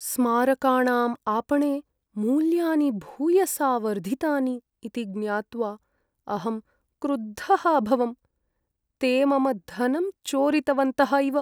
स्मारकाणाम् आपणे मूल्यानि भूयसा वर्धितानि इति ज्ञात्वा अहं क्रुद्धः अभवम्, ते मम धनं चोरितवन्तः इव।